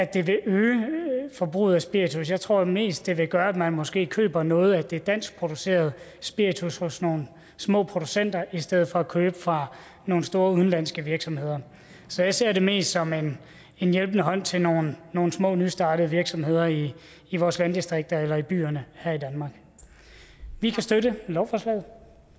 det vil øge forbruget af spiritus jeg tror mest at det vil gøre at man måske køber noget af det danskproducerede spiritus hos nogle små producenter i stedet for at købe fra nogle store udenlandske virksomheder så jeg ser det mest som en hjælpende hånd til nogle nogle små nystartede virksomheder i i vores landdistrikter eller i byerne her i danmark vi kan støtte lovforslaget